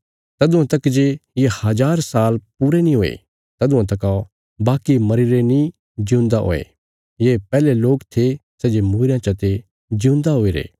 तदुआं तक जे ये हज़ार साल पूरे नीं हुये तदुआं तका बाकी मरीरे नीं जिऊंदा हुये ये पैहले लोक थे सै जे मूईरयां चते जिऊंदा हुईरे